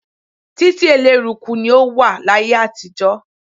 Títí eléruku ni ó wà láyé àtijọ́.